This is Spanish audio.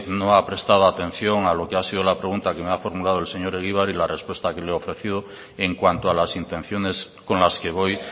no ha prestado atención a lo que ha sido la pregunta que me ha formulado el señor egibar y la respuesta que le he ofrecido en cuanto a las intenciones con las que voy